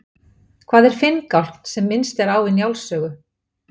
Hvað er finngálkn sem minnst er á í Njáls sögu?